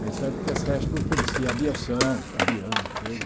Bem certo que a Sesp oferecia aviação, avião, tudo.